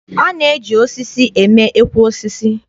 E na-eji osisi eme ekwe osisi.